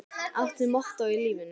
Áttu mottó í lífinu?